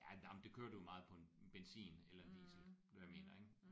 Ja nej men det kører du meget på en benzin eller en diesel du ved hvad jeg mener ik